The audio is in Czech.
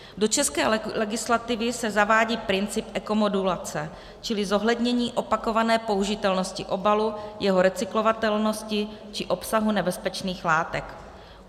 Do české legislativy se zavádí princip ekomodulace, čili zohlednění opakované použitelnosti obalu, jeho recyklovatelnosti či obsahu nebezpečných látek.